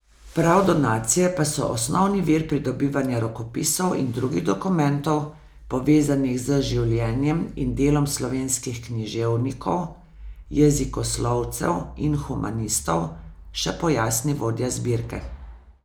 Prav donacije pa so osnovni vir pridobivanja rokopisov in drugih dokumentov, povezanih z življenjem in delom slovenskih književnikov, jezikoslovcev in humanistov, še pojasni vodja zbirke.